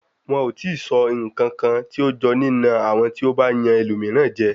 Wọn ò tíì sọ ǹkankan tí ó jọ nína àwọn tí ó bá yan ẹlòmíràn jẹ.